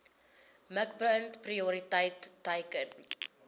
mikpunt prioriteit teiken